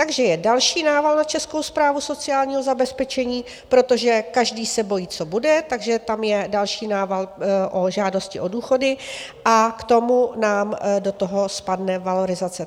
Takže je další nával na Českou správu sociálního zabezpečení, protože každý se bojí, co bude, takže tam je další nával o žádosti o důchody, a k tomu nám do toho spadne valorizace.